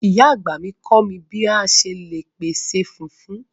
Ìyá àgbà mi kọ mi bi a ṣe le pese fufu